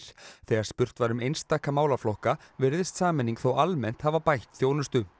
þegar spurt var um einstaka málaflokka virðist sameining þó almennt hafa bætt þjónustu